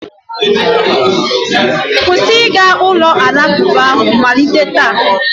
kwụsị ịga ụlọ alakụba ahụ malite taa!